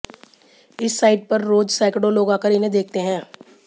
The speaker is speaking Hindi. इस साइट पर रोज सैकड़ों लोग आकर इन्हें देखते हैं